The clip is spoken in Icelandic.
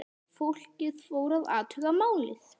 Fólkið fór að athuga málið.